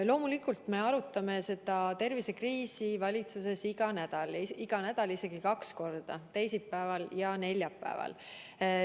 Loomulikult me arutame seda tervisekriisi valitsuses iga nädal – iga nädal isegi kaks korda, teisipäeval ja neljapäeval.